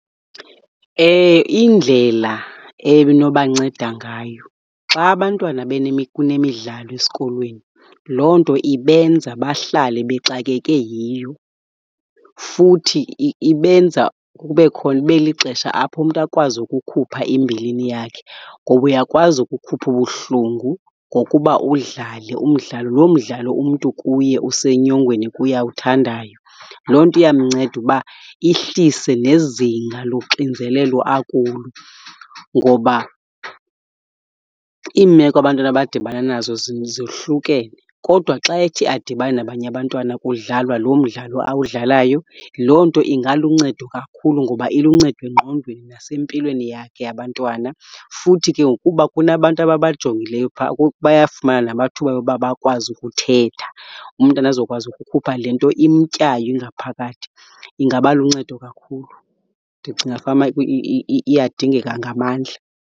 Indlela ebinobanceda ngayo xa abantwana kunemidlalo esikolweni loo nto ibenza bahlale bexakeke yiyo. Futhi ibenza kube , ibe lixesha apho umntu akwazi ukukhupha imbilini yakhe. Ngoba uyakwazi ukukhupha ubuhlungu ngokuba udlale umdlalo, loo mdlalo umntu kuye usenyongweni kuye awuthandayo. Loo nto iyamnceda uba ihlise nezinga loxinzelelo akulo. Ngoba iimeko abantwana abadibana nazo zohlukene, kodwa xa ethi adibane nabanye abantwana kudlalwa lo mdlalo awudlalayo, loo nto ingaluncedo kakhulu ngoba iluncedo engqondweni nasempilweni yakhe yabantwana. Futhi ke ngokuba kunabantu ababajongileyo phaa bayafumana namathuba oba bakwazi ukuthetha, umntana azokwazi ukukhupha le nto imtyayo ingaphakathi. Ingaba luncedo kakhulu. Ndicinga fanuba iyadingeka ngamandla.